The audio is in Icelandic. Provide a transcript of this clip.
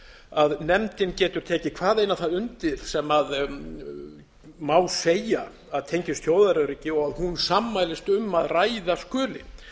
að nefndin getur tekið hvaðeina það undir sem má segja að tengist þjóðaröryggi og hún sammælist um að ræða skuli